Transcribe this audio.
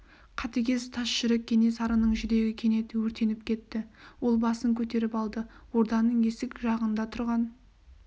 қатыгез тас жүрек кенесарының жүрегі кенет өртеніп кетті ол басын көтеріп алды орданың есік жағында тұрған